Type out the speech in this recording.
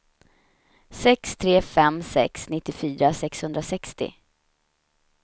sex tre fem sex nittiofyra sexhundrasextio